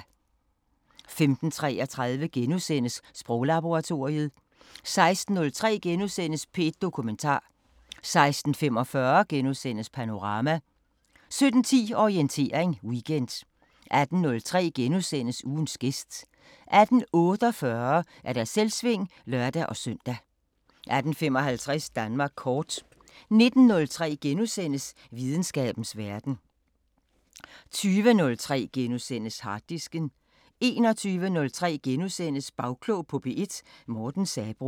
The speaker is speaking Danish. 15:33: Sproglaboratoriet * 16:03: P1 Dokumentar * 16:45: Panorama * 17:10: Orientering Weekend 18:03: Ugens gæst * 18:48: Selvsving (lør-søn) 18:55: Danmark Kort 19:03: Videnskabens Verden * 20:03: Harddisken * 21:03: Bagklog på P1: Morten Sabroe *